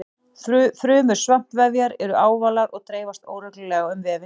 Frumur svampvefjar eru ávalar og dreifast óreglulega um vefinn.